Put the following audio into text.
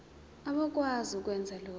abakwazi ukwenza lokhu